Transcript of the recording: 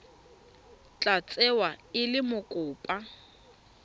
tla tsewa e le mokopa